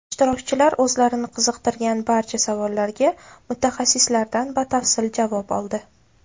Ishtirokchilar o‘zlarini qiziqtirgan barcha savollarga mutaxassislardan batafsil javob oldi.